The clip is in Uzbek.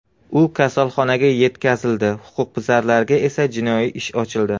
U kasalxonaga yetkazildi, huquqbuzarga esa jinoiy ish ochildi.